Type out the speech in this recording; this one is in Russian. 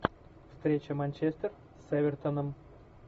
встреча манчестер с эвертоном